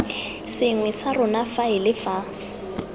sengwe sa rona faele fa